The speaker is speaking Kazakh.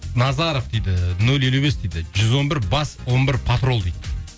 назаров дейді нөл елу бес дейді жүз он бір бас он бір патрол дейді